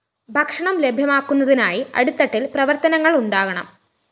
ഭക്ഷണം ലഭ്യമാക്കുന്നതിനായി അടിത്തട്ടില്‍ പ്രവര്‍ത്തനങ്ങള്‍ ഉണ്ടാകണം